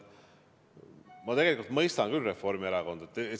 Ma tegelikult mõistan küll Reformierakonda.